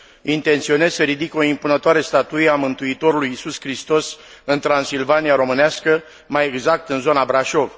Intenționez să ridic o impunătoare statuie a Mântuitorului Iisus Hristos în Transilvania românească, mai exact în zona Brașov.